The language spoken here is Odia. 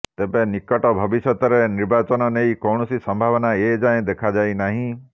ତେବେ ନିକଟ ଭବିଷ୍ୟତରେ ନିର୍ବାଚନ ନେଇ କୌଣସି ସମ୍ଭାବନା ଏ ଯାଏ ଦେଖାଯାଇ ନାହିଁ